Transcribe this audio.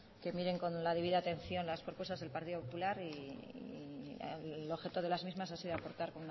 que miren con la debida atención las propuestas del partido popular y el objeto de las mismas ha sido aportar